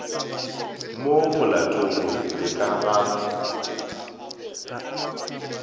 mo molatong le ka ga